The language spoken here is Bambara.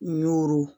Y'oro